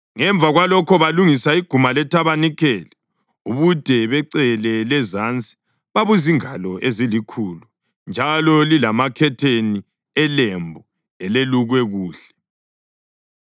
Ngemva kwalokho balungisa iguma lethabanikeli. Ubude becele lezansi babuzingalo ezilikhulu njalo lilamakhetheni elembu elelukwe kuhle,